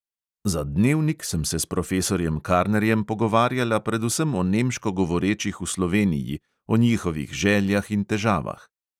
Za dnevnik sem se s profesorjem karnerjem pogovarjala predvsem o nemško govorečih v sloveniji, o njihovih željah in težavah.